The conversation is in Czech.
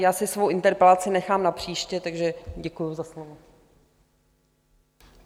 Já si svou interpelaci nechám na příště, takže děkuji za slovo.